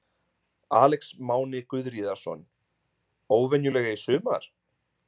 Alex Máni Guðríðarson: Óvenjulega í sumar?